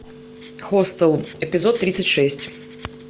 хостел эпизод тридцать шесть